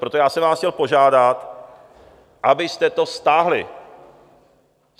Proto já jsem vás chtěl požádat, abyste to stáhli!